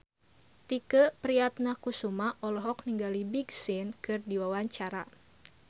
Tike Priatnakusuma olohok ningali Big Sean keur diwawancara